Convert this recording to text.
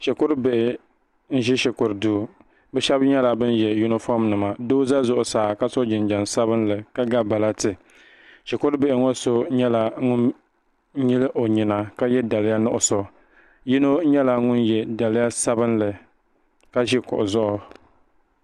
shikuru bihi n ʒi shikuru duu bi shab nyɛla bin yɛ yunifom nima doo ʒɛ zuɣusaa ka so jinjɛm sabinli ka ga balati shikuru bihi ŋɔ so nyɛla ŋun nyili o nyina ka yɛ daliya nuɣso yino nyɛla ŋun yɛ daliya sabinli ka ʒi kuɣu zuɣu